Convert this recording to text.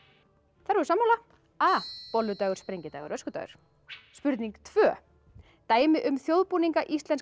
þær voru sammála a bolludagur sprengidagur öskudagur spurning tvö dæmi um þjóðbúninga íslenskra